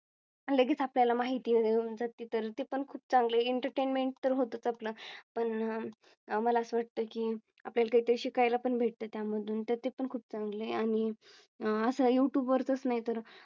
लगेच आपल्याला माहिती देऊन जाती तर ते पण खूप चांगले Entertainment तर होतोच आपलं पण आम्हाला वाटत की आपल्या ला ते शिकाय ला पण भेटते त्या मधून तर ते पण खूप चांगले आणि असं Youtube वर तच नाही तर